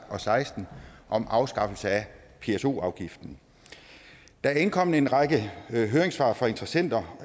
og seksten om afskaffelse af pso afgiften der er indkommet en række høringssvar fra interessenter